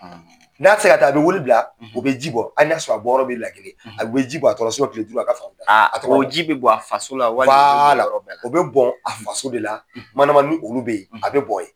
N'a tɛ se ka taa a bɛ wele bila u bɛ ji bɔ hali n'a y'a sɔrɔ a bɔyɔrɔ bɛ Lajine a bɛ ji bɔn a tɔgɔ la kile duuru a ka fanga bɛ ban o ji bɛ bɔn a faso la walima o bɛ bɔn yɔrɔ bɛɛ la wala a bɛ bɔn a faso de la mandama ni olu bɛ ye a bɛ bɔn yen.